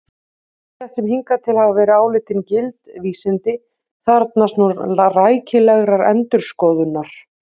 Ýmislegt sem hingað til hafa verið álitin gild vísindi þarfnast nú rækilegrar endurskoðunar!